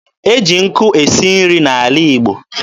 E ji nkụ esi nri n'ala Igbo.